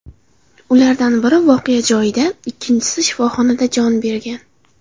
Ulardan biri voqea joyida, ikkinchisi shifoxonada jon bergan.